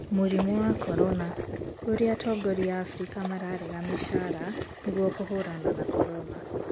Mũrimũ wa corona: Ũrĩa atongoria a Afrika mararenga mĩcaara nĩguo kũhũrana na Corona